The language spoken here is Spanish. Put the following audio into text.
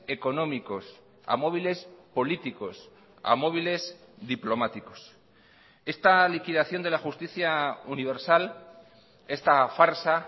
económicos a móviles políticos a móviles diplomáticos esta liquidación de la justicia universal esta farsa